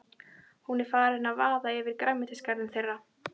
Hún er farin að vaða yfir grænmetisgarðinn þeirra.